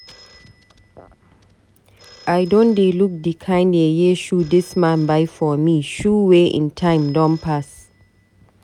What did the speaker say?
I don dey look di kind yeye shoe dis man buy for me, shoe wey ein time don pass.